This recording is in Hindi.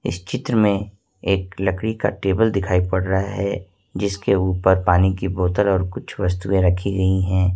इस चित्र में एक लकड़ी का टेबल दिखाई पड़ रहा है जिसके ऊपर पानी की बोतल और कुछ वस्तुएं रखी गई है।